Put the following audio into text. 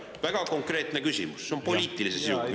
Väga konkreetne küsimus, poliitilise sisuga küsimus.